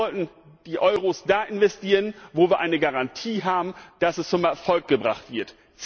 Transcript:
Wir sollten die Euros da investieren, wo wir eine Garantie haben, dass es zum Erfolg gebracht wird.